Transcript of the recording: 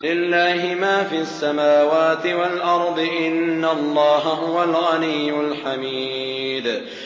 لِلَّهِ مَا فِي السَّمَاوَاتِ وَالْأَرْضِ ۚ إِنَّ اللَّهَ هُوَ الْغَنِيُّ الْحَمِيدُ